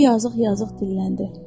O yazıq-yazıq dilləndi.